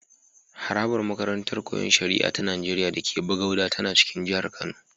Harabar makarantar Koyon Shari'a ta Nigeriya da ke Bagauda tana cikin jihar Kano.